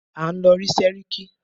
À ń lọ rí sẹ́ríkí.